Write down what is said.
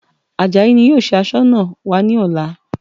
Àjàyí ni yóò ṣe Aṣọ́nà wa ní ọ̀la